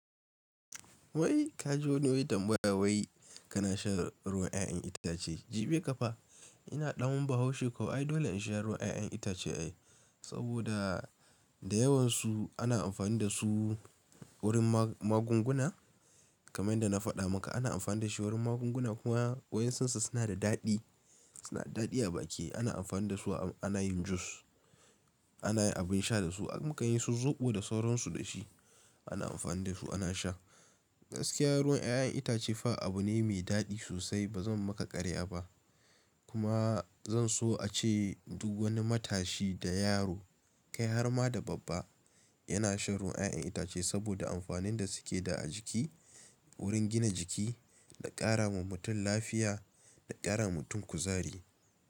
Wai ka ji wani wai tanbada wai kana shan ruwan 'ya'yan itace? Jibi ƙafa ina ɗan bahaushe ko ai. Dole in sha ruwan 'ya'yan itace ai, saboda da yawansu ana amfani dasu wurin magunguna kamar yanda na faɗa maka. Ana amfani da shi wurin magunguna kuma waɗansunsu suna da daɗi, suna da daɗi a baki. Ana amfani da su ana yin jus, ana yin abin sha dasu, mukan yi su zoɓo da sauransu da shi. Ana amfani da su ana sha. Gaskiya ruwan 'ya'yan itace fa abu ne mai daɗi sosai. Ba zan maka ƙarya ba kuma zan so ace duk wani matashi da yaro kai har ma da babba yana shan ruwan 'ya'yan itace saboda amfanin da suke da a jiki wurin gina jiki da ƙara wa mutum lafiya da ƙara wa mutum kuzari.